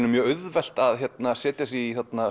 er mjög auðvelt að setja sig í